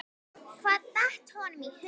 Hvað datt honum í hug?